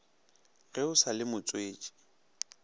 ge o sa le motswetši